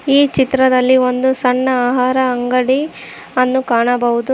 ಈ ಚಿತ್ರದಲ್ಲಿ ಒಂದು ಸಣ್ಣ ಆಹಾರ ಅಂಗಡಿ ಅನ್ನು ಕಾಣಬಹುದು.